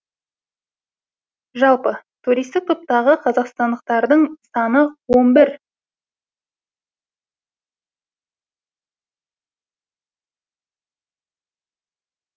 жалпы туристік топтағы қазақстандықтардың саны он бір